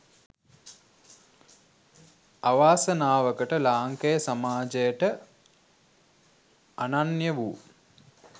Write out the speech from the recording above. අවාසනාවකට ලාංකේය සමාජයට අනන්‍ය වූ